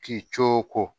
K'i co ko